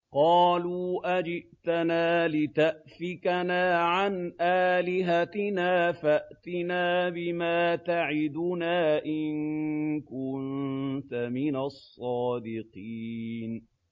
قَالُوا أَجِئْتَنَا لِتَأْفِكَنَا عَنْ آلِهَتِنَا فَأْتِنَا بِمَا تَعِدُنَا إِن كُنتَ مِنَ الصَّادِقِينَ